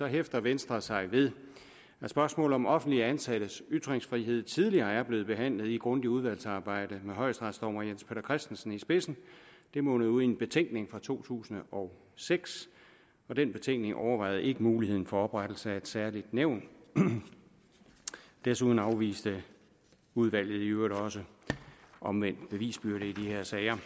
hæfter venstre sig ved at spørgsmålet om offentligt ansattes ytringsfrihed tidligere er blevet behandlet i et grundigt udvalgsarbejde med højesteretsdommer jens peter christensen i spidsen det mundede ud i en betænkning fra to tusind og seks og den betænkning overvejede ikke muligheden for oprettelse af et særligt nævn desuden afviste udvalget i øvrigt også omvendt bevisbyrde i de her sager